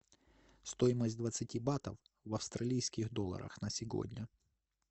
стоимость двадцати батов в австралийских долларах на сегодня